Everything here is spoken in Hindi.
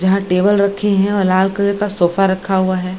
जहाँ टेबल रखे हैं और लाल कलर का सोफा रखा हुआ है।